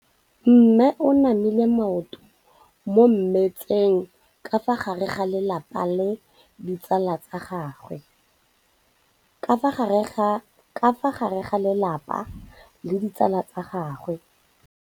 Mme o namile maoto mo mmetseng ka fa gare ga lelapa le ditsala tsa gagwe.